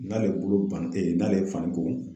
N'ale bolo ban tɛ n'ale fani ko